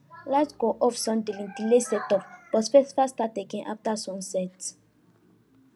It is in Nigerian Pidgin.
light go off suddenly delay setup but festival start again after sunset